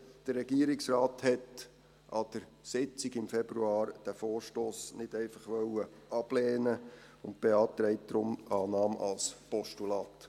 Der Regierungsrat wollte an der Sitzung im Februar diesen Vorstoss nicht einfach ablehnen und beantragt deshalb Annahme als Postulat.